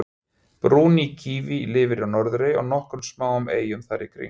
brúni kíví lifir á norðurey og nokkrum smáum eyjum þar í kring